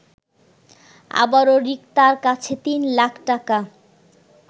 আবারো রিক্তার কাছে ৩ লাখ টাকা